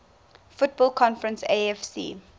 football conference afc